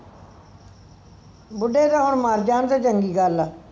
ਬੁੱਢੇ ਤਾਂ ਹੁਣ ਮਾਰ ਜਾਨ ਤੇ ਚੰਗੀ ਗੱਲ ਹੈ